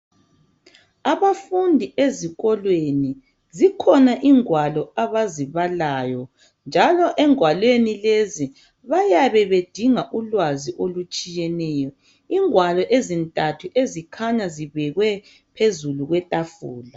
Abafundi ezikolweni. Zikhona ingwalo abazibalayo. Njalo engwalweni lezi bayabe bedinga ulwazi olutshiyeneyo. Ingwalo ezintathu ezikhanya zibekwe phezulu kwetafula.